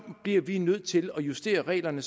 bliver vi nødt til at justere reglerne